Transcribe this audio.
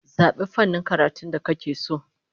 Zabi fannin karatun da kake so!